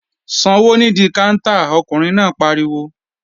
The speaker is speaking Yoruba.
Sanwó nídí káńtà! Ọkùnrin náà pariwo